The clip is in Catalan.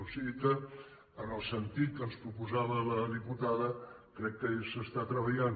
o sigui que en el sentit que ens proposava la diputada crec que s’hi està treballant